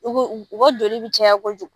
U ka joli bi caya kojugu.